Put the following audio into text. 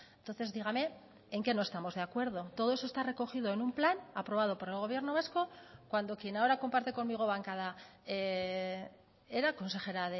entonces dígame en qué no estamos de acuerdo todo eso está recogido en un plan aprobado por el gobierno vasco cuando quien ahora comparte conmigo bancada era consejera